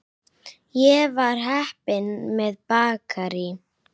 Ég var heppin með bakarí.